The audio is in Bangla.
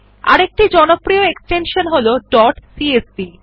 আরেকটি জনপ্রিয় ফাইল এক্সটেনশন হল ডট সিএসভি